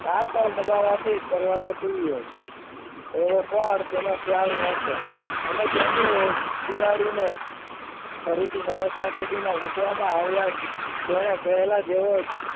આ કળ દબાવવાથી દરવાજો ખુલ્યો હશે એવો પણ તેનો ખ્યાલ ન હતો અને તેની જ બિલાડીને ફરીથી સમસ્યા પેટીમાં મૂકવામાં આવ્યા જ તેની પહેલા જ જેવો જ